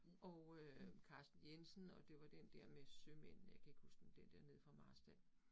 Og øh Carsten Jensen og det var den der med sømænd, jeg kan ikke huske den der nede fra Marstal